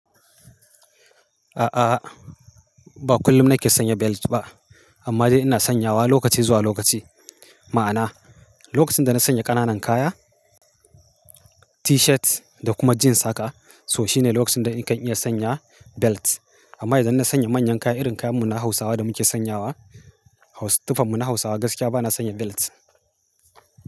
A'a, ba kullum nake sanya belt ba amma dai ina sanyawa lokaci zuwa lokaci. Ma'ana, lokacin da na sanya ƙananan kaya, T-shirt da kuma jeans saka so shine lokacin da nakan iya sanya belt. Amma idan na sanya manyan kaya, irin kayan mu na Hausawa da muke sanyawa, tufan mu na Hausawa gaskiya bana sanya belt.